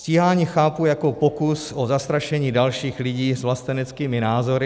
Stíhání chápu jako pokus o zastrašení dalších lidí s vlasteneckými názory.